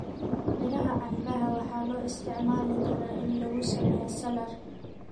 Miraha canbaha waxaa loo isticmaalaa in lagu sameeyo saladh.